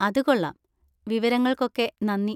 അത് കൊള്ളാം. വിവരങ്ങൾക്കൊക്കെ നന്ദി.